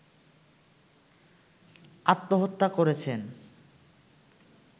আত্মহত্যা করেছেন